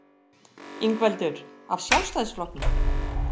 Ingveldur: Af Sjálfstæðisflokknum?